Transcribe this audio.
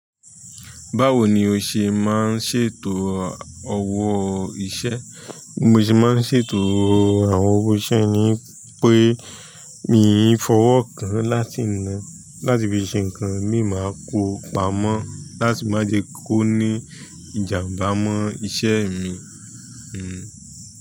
Báwo ni o ṣe máa ń ṣètò ọwọ́ iṣẹ́? Bí mo ṣe máa ń ṣètò àwọn owó iṣẹ́ ni pé, mi ò ní fọwọ́ kan láti ina. Láti fi ṣe nǹkan mi máa kó pamọ́ láti má jẹ kó ní ìjàmbá mọ́ iṣẹ́ mi. Hmmm.